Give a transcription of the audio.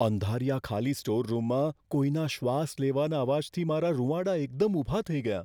અંધારિયા ખાલી સ્ટોર રૂમમાં કોઈના શ્વાસ લેવાના અવાજથી મારાં રૂંવાડા એકદમ ઊભા થઈ ગયાં.